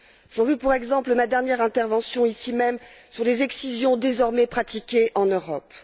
J'en veux pour exemple ma dernière intervention, ici même, sur les excisions désormais pratiquées en Europe.